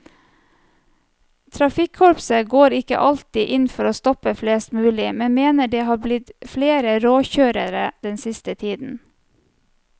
Trafikkorpset går ikke alltid inn for å stoppe flest mulig, men mener det har blitt flere råkjørere den siste tiden.